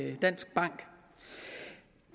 en dansk bank